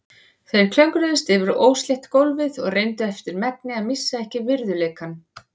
Þeir klöngruðust yfir óslétt gólfið og reyndu eftir megni að missa ekki virðuleikann.